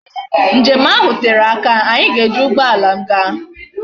Njem ahu tere aka, anyi ga eji ugboala m gaa